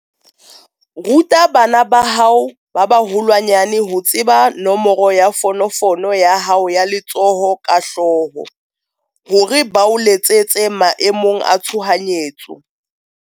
Ruta bana ba hao ba baholwanyane ho tseba nomoro ya fonofono ya hao ya letsoho ka hlooho, hore ba o letsetse maemong a tshohanyetso.